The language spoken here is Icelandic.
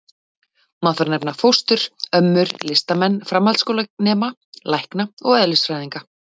Má þar nefna: fóstrur, ömmur, listamenn, framhaldsskólanema, lækna og eðlisfræðinga.